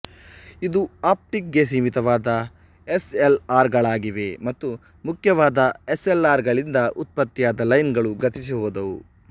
ಇದು ಆಪ್ಟಿಕ್ ಗೆ ಸೀಮಿತವಾದ ಎಸ್ಎಲ್ಆರ್ ಗಳಾಗಿವೆ ಮತ್ತು ಮುಖ್ಯವಾದ ಎಸ್ಎಲ್ಆರ್ ಗಳಿಂದ ಉತ್ಪತ್ತಿಯಾದ ಲೈನ್ ಗಳು ಗತಿಸಿಹೋದವು